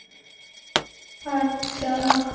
আত্চ্ছা